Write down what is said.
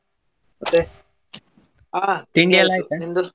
ಮತ್ತೆ ಆ ನಿನ್ದು?